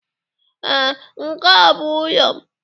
Ee, nke a bụ ụlọ m.